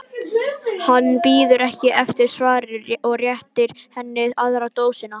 Hann bíður ekki eftir svari og réttir henni aðra dósina.